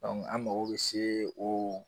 Dɔnku an mago be se o